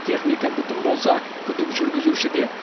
техника бүтін болса күдік жүргізушіде